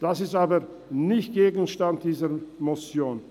Das ist aber nicht Gegenstand dieser Motion.